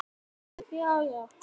Hann var góður.